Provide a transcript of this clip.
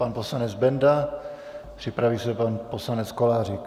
Pan poslanec Benda, připraví se pan poslanec Kolářík.